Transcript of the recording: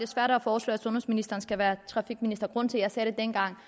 svært at foreslå at sundhedsministeren skal være trafikminister grunden til at jeg dengang